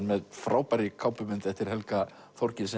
með frábærri kápumynd eftir Helga Þorgils